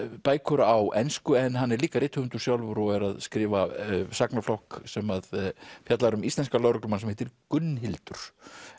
bækur á ensku en hann er líka rithöfundur sjálfur og er að skrifa sem að fjallar um íslenskan lögreglumann sem heitir Gunnhildur